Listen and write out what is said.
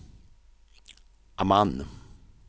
Amman